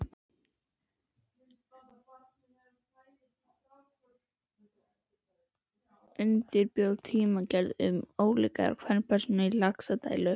Undirbjó tímaritgerð um ólíkar kvenpersónur í Laxdælu.